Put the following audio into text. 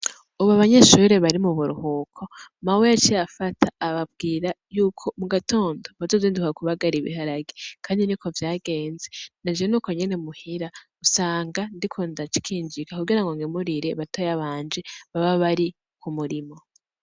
Ubu abanyeshuri bari mu buruhuko Mawe yaciye afata ababwira yuko mu gatondo bazozinduka ku bagara ibiharage kandi nuko vyagenze naje nuko nyene muhira usanga ndiko ndakinjika ku girango ngemurire batoya banje baba bari ku murimo